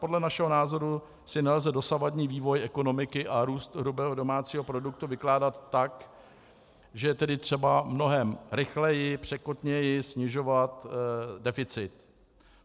Podle našeho názoru si nelze dosavadní vývoj ekonomiky a růst hrubého domácího produktu vykládat tak, že je tedy třeba mnohem rychleji, překotněji snižovat deficit.